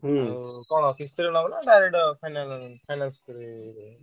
ଆଉ କଣ କିସ୍ତିରେ ନବୁ ନା direct finance ରେ ନବୁ?